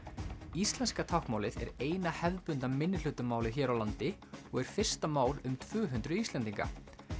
íslenska táknmálið er eina hefðbundna hér á landi og er fyrsta mál um tvö hundruð Íslendinga